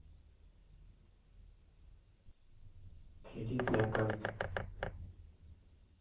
кредитная карта